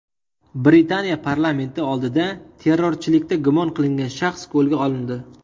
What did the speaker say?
Britaniya parlamenti oldida terrorchilikda gumon qilingan shaxs qo‘lga olindi.